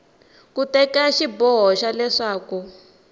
ku teka xiboho xa leswaku